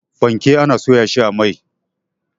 Fanke ana soya shi a mai.